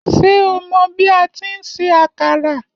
Ṣé o mọ bi atí ń se àkàrà?